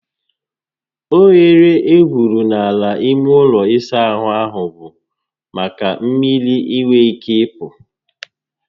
Oghere egwuru n'ala ime ụlọ ịsa ahụ bụ maka mmiri inwe ike ịpụ